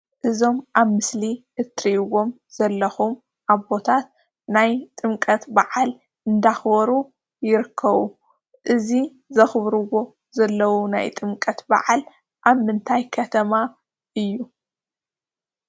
እዞም ኣብ ምስሊ እትርእይዎም ዘለኹም ኣቦታት ናይ ጥምቀት ብዓል እንዳኽበሩ ይርከቡ። እዚ ዘኽብርዎ ዘለዉ ናይ ጥምቀት ብዓል ኣብ ምንታይ ከተማ እዩ?